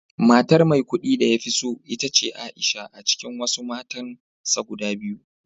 Matar Maikudi da ya fi so ita ce Aisha a cikin wasu matansa guda biyu